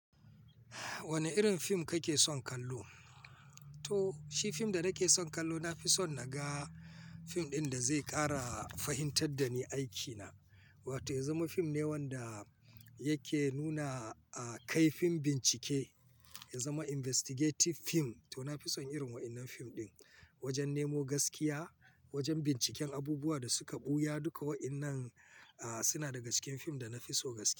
Wane irin fim kake son kallo? To shi fim da nake son kallo, na fi son naga fim ɗin da zai ƙara fahimtar da ni aikina. Wato ya zama fim ne wanda yake nuna, ah kaifin bincike, ya zama investigative fim. To na fi son irin waɗannan fim ɗin wajen nemo gaskiya, wajen binciken abubuwan da suka ɓuya duka. Waɗannan ah suna daga cikin fim da na fi so gaski.